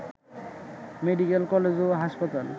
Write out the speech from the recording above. medical college ও হাসপাতাল